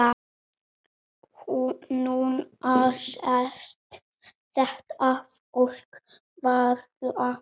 Núna sést þetta fólk varla.